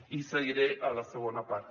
i seguiré a la segona part